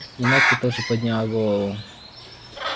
и настя тоже подняла голову